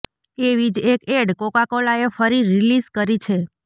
એવી જ એક એડ કોકાકોલાએ ફરી રિલીઝ કરી છે